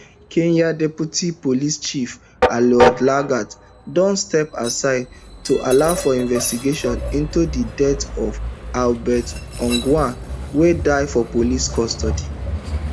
kenya deputy police chief eliud lagat don step aside to allow for investigation into di death of albert ojwang wey die for police custody